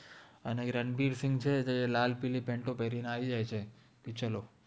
અને રનબીર સિન્ઘ છે તે એ લાલ પિરિ પેન્તો પેરિ ને આવિ જાએ ચે